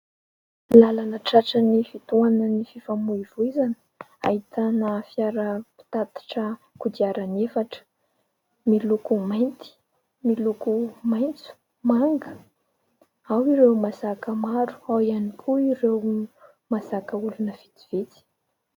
Làlana tratran'ny fitohanan'ny fifamoivozana, ahitana fiara mpitatitra kodiarana efatra, miloko mainty, miloko maitso, manga. Ao ireo mazaka maro, ao ihany koa ireo mahazaka olona vitsivitsy.